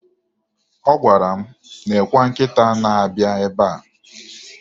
Ọ gwara m, "nekwe nkịta na-abịa ebe a".